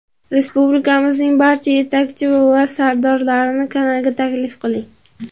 Respublikamizning barcha yetakchi va sardorlarini kanalga taklif qiling.